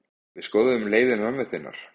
Við skoðuðum leiði mömmu þinnar.